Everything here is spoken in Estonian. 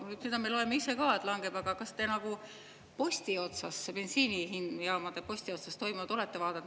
No seda me loeme ise ka, et langeb, aga kas te nagu posti otsas, bensiinijaamade posti otsas toimunut olete vaadanud.